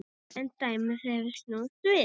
En dæmið hefur snúist við.